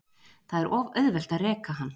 Það er of auðvelt að reka hann.